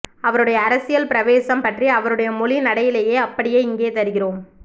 அவருடைய அரசியல் பிரவேசம் பற்றி அவருடைய மொழி நடையிலேயே அப்படியே இங்கே தருகிறோம்